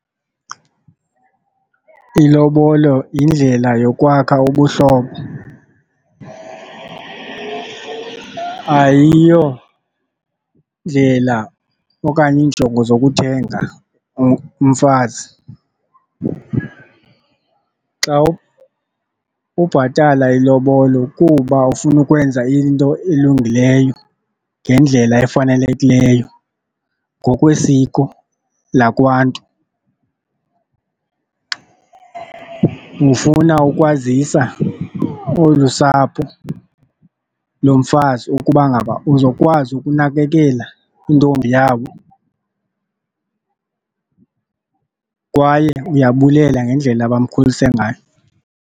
Ilobolo yindlela yokwakha ubuhlobo, ayiyondlela okanye iinjongo zokuthenga umfazi. Xa ubhatala ilobolo kuba ufuna ukwenza into elungileyo ngendlela efanelekileyo ngokwesiko lakwaNtu, ufuna ukwazisa olu sapho lomfazi ukuba ngaba uzokwazi ukunakekela intombi yabo kwaye uyabulela ngendlela abamkhulise ngayo.